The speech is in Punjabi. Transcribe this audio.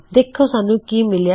ਦੇਖੋ ਸਾਨੂੰ ਕੀ ਮਿਲਿਆ